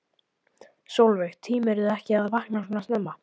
Sólveig: Tímirðu ekki að vakna svona snemma?